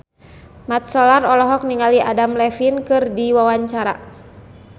Mat Solar olohok ningali Adam Levine keur diwawancara